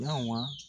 Yawɔ